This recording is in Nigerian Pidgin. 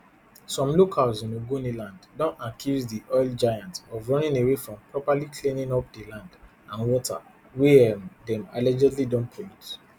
some locals in ogoniland don accuse di oil giant of running away from properly cleaning up di land and water wey um dem allegedly don pollute